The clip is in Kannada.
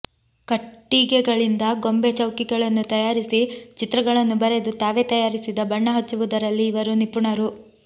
ಕಟ್ಟಿಗೆಗಳಿಂದ ಗೊಂಬೆ ಚೌಕಿಗಳನ್ನು ತಯಾರಿಸಿ ಚಿತ್ರಗಳನ್ನು ಬರೆದು ತಾವೆ ತಯಾರಿಸಿದ ಬಣ್ಣ ಹಚ್ಚುವದರಲ್ಲಿ ಇವರು ನಿಪುಣರು